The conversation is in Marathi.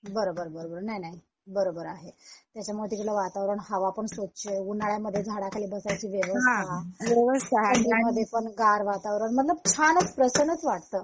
बरोबर बरोबर नाही नाही बरोबर आहे त्याच्यामुळे तिकडलं वातावरण हवापण स्वच्छ उन्हाळ्यामध्ये झाडाखाली बसालची व्यवस्था आणि ते पण गार वातावरण मतलब छानच प्रसन्नच वाटत